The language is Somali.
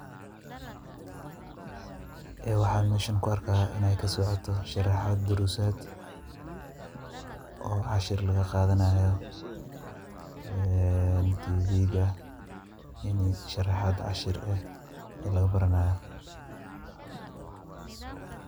Waxaa meeshan ku arkaaya inaay kasocoto sharaxaad, daruusaad, oo cashir laga qaadanaayo, tvga in sharaxaad cashir ah laga baranaayo.